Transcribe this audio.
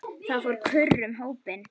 Það fór kurr um hópinn.